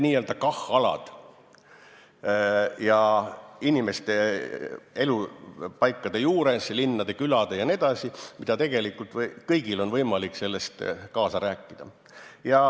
Need on alad inimeste elupaikade juures, linnade ja külade juures ja tegelikult kõigil on võimalik selles kaasa rääkida.